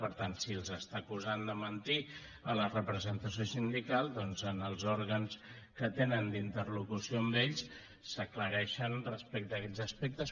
per tant si els està acusant de mentir la representació sindical doncs en els òrgans que tenen d’interlocució amb ells s’aclareixen respecte a aquests aspectes